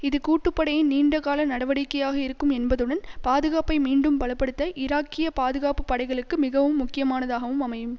இது கூட்டுப்படையின் நீண்ட கால நடவடிக்கையாக இருக்கும் என்பதுடன் பாதுகாப்பை மீண்டும் பல படுத்த ஈராக்கிய பாதுகாப்பு படைகளுக்கு மிகவும் முக்கியமானதாகவும் அமையும்